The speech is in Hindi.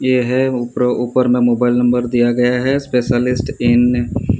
यह ऊपर ऊपर में मोबाइल नंबर दिया गया है स्पेशलिस्ट इन --